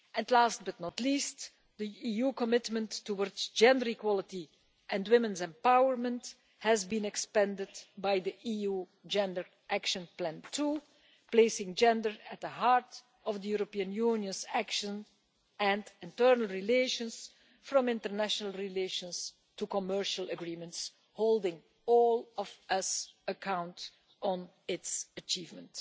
WTO. Last but not least, the EU's commitment towards gender equality and women's empowerment has been expanded by the EU Gender Action Plan too, placing gender at the heart of the European Union's actions, from international relations to commercial agreements, and holding all of us accountable for its achievements.